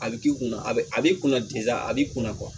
A bɛ k'i kunna a bɛ a b'i kunna a b'i kunna kuwa